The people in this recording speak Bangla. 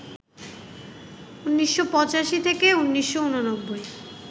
১৯৮৫ থেকে ১৯৮৯